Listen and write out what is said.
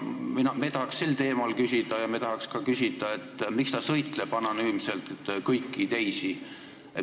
Me tahaks sel teemal küsida ja me tahaks ka küsida, miks ta sõitleb anonüümselt kõiki teisi.